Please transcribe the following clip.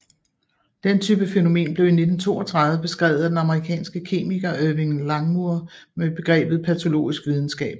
Den type fænomen blev i 1932 beskrevet af den amerikanske kemiker Irving Langmuir med begrebet patologisk videnskab